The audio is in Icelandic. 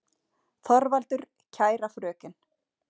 ÞORVALDUR: Kæra fröken!